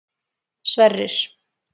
Sverrir